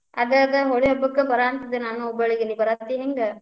ಅದ್ ಅದ್ ಹೋಳಿ ಹಬ್ಬಕ್ಕ್ ಬರಾಂತಿದ್ದೆ ನಾನು ಹುಬ್ಬಳ್ಳಿಗೆ, ನೀ ಬರಾತಿ ಹೆಂಗ್?